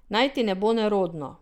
Naj ti ne bo nerodno!